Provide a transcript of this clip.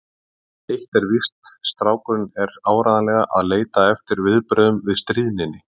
En eitt er víst: Strákurinn er áreiðanlega að leita eftir viðbrögðum við stríðninni.